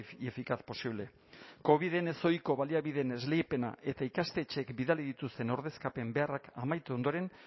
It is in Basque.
y eficaz posible coviden ezohiko baliabideen esleipena eta ikastetxeek bidali dituzten ordezkapen beharrak amaitu ondoren